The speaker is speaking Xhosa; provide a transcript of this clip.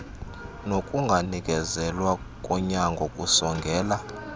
nokunganikezelwa konyango kusongela